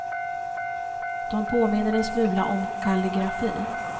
De påminner en smula om kalligrafi.